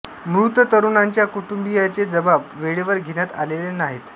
मृत तरुणांच्या कुटुंबीयांचे जबाब वेळेवर घेण्यात आलेले नाहीत